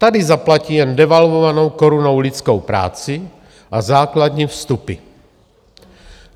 Tady zaplatí jen devalvovanou korunou lidskou práci a základní vstupy.